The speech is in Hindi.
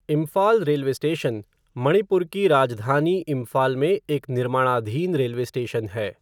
इम्फाल रेलवे स्टेशन मणिपुर की राजधानी इम्फाल में एक निर्माणाधीन रेलवे स्टेशन है।